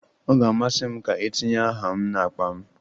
Ọ ga-amasị m ka etinye aha m n'akpa m.